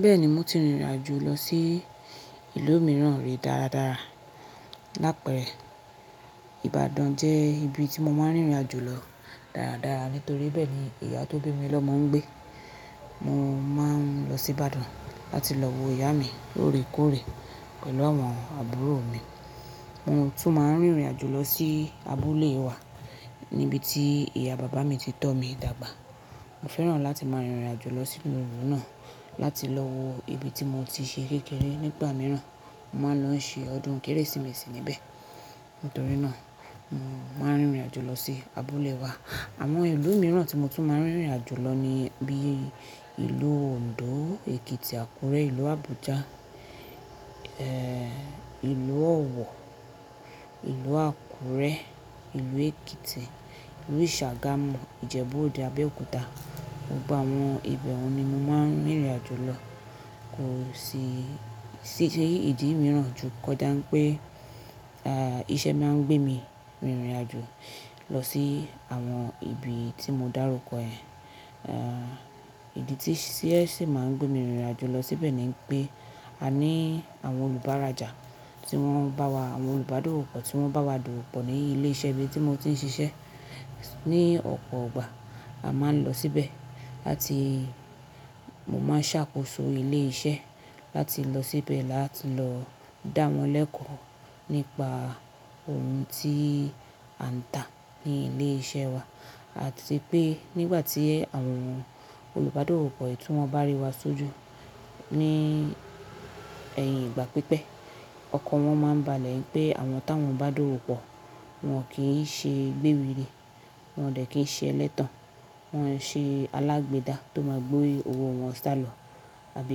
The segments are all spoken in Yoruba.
Bẹ́ẹ̀ni mo ti rìnrìn àjò lọ sí ìlú mìíràn rí dáradára. Láì pẹ́rẹ́ Ìbàdàn jẹ́ ibi tí mo máa ń rìnrìn àjò lọ dáradára nítorí bẹ́ẹ̀ ni ìyá tó bí mi lọ máa ń gbé. Mo máa ń lọ sí Ìbàdàn láti lọ wo ìyá mi lóòrèkóòrè pẹ̀lú àwọn àbúrò mi. Mo tún máa ń rìnrìn àjò lọ sí abúlé wa níbi tí ìyá bàbá mi ti tọ́ mi dàgbà. Mo fẹ́ràn láti máa rìnrìn àjò lọ sínú ìlú náà láti lọ wo ibi tí mo ti ṣe kékeré nígbà mìíràn. Mo máa ń lọ ṣe ọdún Kérésìmesì níbẹ̀. Nítorí náà mo máa ń rìnrìn àjò lọ sí abúlé wa. Àwọn ìlú mìíràn tí mo tún máa ń rìnrìn àjò lọ ní bí i ìlú Ondo, Èkìtì, Àkúrẹ́, ìlú Abuja, eh ìlú Ọ̀wọ̀, ìlú Àkúrẹ́, ìlú Èkìtì, ìlú Isàgàmù, Ìjẹ̀bú-Òde, abéòkúta. Gbogbo àwọn ibẹ̀ wọ̀ ni mo máa ń rìnrìn àjò lọ. Kò sí ìdí mìíràn ju kò dáń pé ah iṣẹ́ máa ń gbé mi rìnrìn àjò lọ sí àwọn ibi tí mo dárúkọ ẹ. Ah ìdí tí iṣẹ́ sì máa ń gbé mi rìnrìn àjò lọ síbẹ̀ ni pé a ní àwọn olùbárajà tí wọ́n ń bá wa, àwọn olùbádówópọ́ tí wọ́n ń bá wa dúró pọ̀ ní ilé-iṣẹ́ ibi tí mo ti ń ṣiṣẹ́. Ni ọ̀pọ̀ ọgbà a máa ń lọ síbẹ̀ láti, mo máa ń ṣàkóso ilé-iṣẹ́ láti lọ síbẹ̀ láti lọ dá wọn lẹ́kọ̀ọ́ nípa ohun tí a ń ta ní ilé-iṣẹ́ wa àti pé nígbà tí àwọn olùbádòwòpọ̀ ọkọ̀ yìí tí wọ́n bá rí wa sójú ní ẹ̀yìn ìgbà pípẹ́, ọkọ̀ wọn máa ń balẹ̀ ẹ pé àwọn tá wọn bá dúró pọ̀ wọn kì í ṣe gbéri ni, wọn dẹ̀ kì í ṣe ẹlẹ́tàn, wọn ṣe alágbèédá tó máa gbé owó wọn sálọ àbí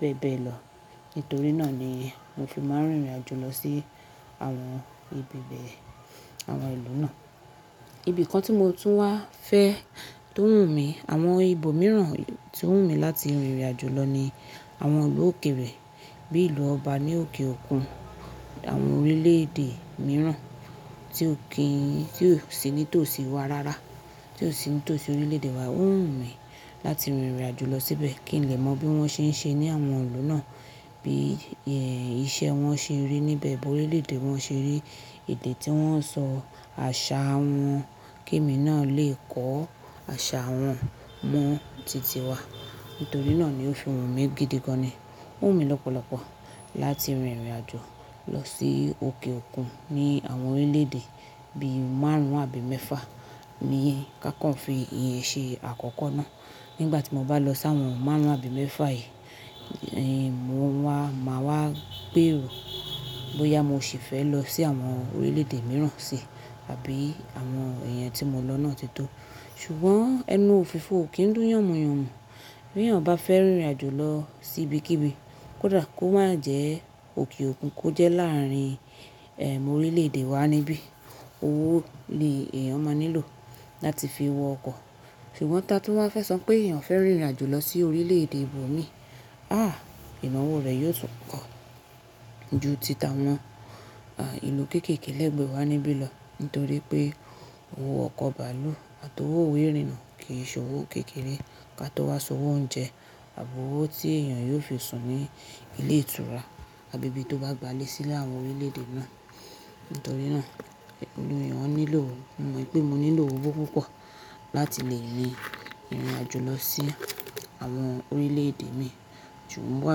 bẹ́ẹ̀ bẹ́ẹ̀ lọ. Nítorí náà ni mo fí máa ń rìnrìn àjò lọ sí àwọn ibi bẹ́ẹ̀, àwọn ìlú náà. Ibi kan tí mo tún wá fẹ́ tó wù mí, àwọn ibo mìíràn tí ó wù mí láti rìnrìn àjò lọ ní àwọn ìlú òkèèrè bíi ìlú ọba ní òkè òkun, àwọn orílẹ̀-èdè mìíràn tí ò kí ń, tí ò sí ní tòsí wa rárá, tí ò sí ní tòsí orílẹ̀-èdè wa. Ó wù mí láti rìnrìn àjò lọ síbẹ̀ kí n lè mọ bí wọ́n ṣe ń ṣe ní àwọn ìlú náà, bí iṣẹ́ wọn ṣe rí níbẹ̀, bí orílẹ̀-èdè wọn ṣe rí, èdè tí wọ́n ń sọ, àṣà wọn kí èmi náà lè kọ́ àṣà wọn mọ títí wa. Nítorí náà ni ó fi wù mí gidi gan ni. Ó wù mí lọ́pọ̀lọ́pọ̀ láti rìnrìn àjò lọ sí òkè òkun ní àwọn orílẹ̀-èdè bí i márùn-ún àbí mẹ́fà ní ká kàn fi iye ṣe àkọ́kọ́ náà. Nígbà tí mo bá lọ sí àwọn márùn-ún àbí mẹ́fà yìí, mo máa wá gbèrò bóyá mo ṣì fẹ́ lọ sí àwọn orílẹ̀-èdè mìíràn si àbí àwọn ìyẹn tí mo lọ náà ti tó. Ṣùgbọ́n ẹnu òfìfo ò kí ń dùn yànmùyànmù. Bí èèyàn bá fẹ́ rìnrìn àjò lọ sí ibikíbi, kò dára kó má jẹ òkè òkun kó jẹ́ láàárín orílẹ̀-èdè wa níbí. Owó ni èèyàn máa nílò láti fi wọ ọkọ̀. Ṣùgbọ́n tá tí wọ́n fẹ́ sọ pé èèyàn fẹ́ rìnrìn àjò lọ sí orílẹ̀-èdè ibòmíì, haa ìnáwó rẹ̀ yóò tún kọ ju títàwọn ìlú kéékèèké lẹ́gbẹ̀ẹ́ wa níbí lọ nítorí pé owó ọkọ̀ bàálù àti owó ìwé'rìnà kì í ṣe owó kékeré ká tó wá san owó oúnjẹ àbí owó tí èèyàn yóò fi sùn ní ilé ìtura àbí ibi tó bá gbálẹ̀ sí láwọn orílẹ̀-èdè náà. Nítorí náà olú èèyàn ó nílò, mo mọ pé mo nílò owó púpọ̀ láti lè rin ìrìn àjò lọ sí àwọn orílẹ̀-èdè mi. Ṣùgbọ́n wà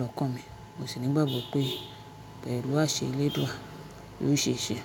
lọ́kàn mi, mo sì nígbàgbọ́ pé pẹ̀lú àṣẹ ilé eledua, yóò ṣe ṣe.